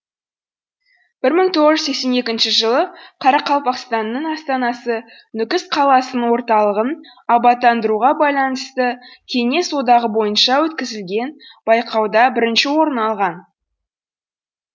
бір мың тоғыз жүз сексен екінші жылы қарақалпақстанның астанасы нүкіс қаласының орталығын абаттандыруға байланысты кеңес одағы бойынша өткізілген байқауда бірінші орын алған